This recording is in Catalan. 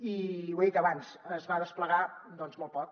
i ho he dit abans es va desplegar doncs molt poc